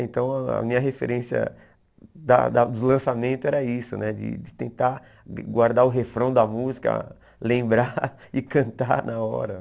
Então a minha referência da da dos lançamentos era isso, né de de tentar guardar o refrão da música, lembrar e cantar na hora.